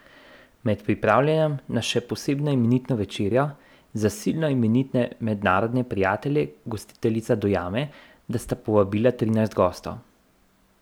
Med pripravljanjem na še posebno imenitno večerjo za silno imenitne mednarodne prijatelje gostiteljica dojame, da sta povabila trinajst gostov.